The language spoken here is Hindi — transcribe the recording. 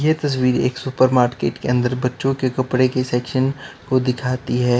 ये तस्वीर एक सुपर मार्केट के अंदर बच्चों के कपड़े की सेक्शन को दिखाती है।